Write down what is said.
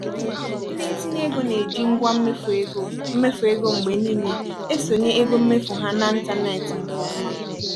ndị ntinye ego na-eji ngwa mmefuego mmefuego mgbe niile esonye ego mmefu ha na ntanetị nke ọma.